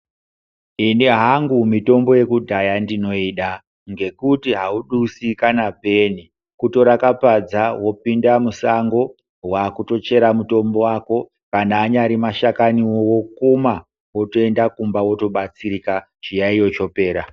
Ini hangu mitombo yekudhaya ndinoda ngekuti haudusi kana peni. Kutora kapadza vopinda musango kwakutochera mutombo vako. Kana anyari mashakanivo vokuma votoenda kumba votobatsirika chiyaiyo chopera.